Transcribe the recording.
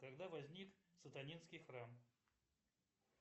когда возник сатанинский храм